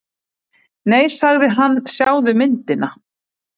Nei sagði hann, sjáðu myndina.